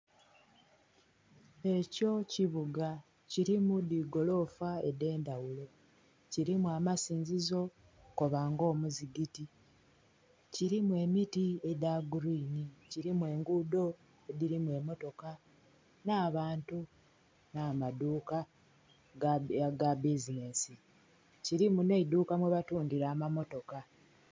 Ekyo kibuga kirimu dhigolofa edhendhaghulo kirimu amasinzo koba nga omuzigiti, kirimu emiti edhagurini, kirimu egudo edhirimu emmotoka n'abantu, n'amadhuuka agabbizinensi kirimu n'eidhuuka mwabatundhira amammotoka.